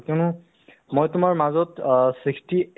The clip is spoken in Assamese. অ, আৰু কোৱা তোমাৰ কি চলি আছে ?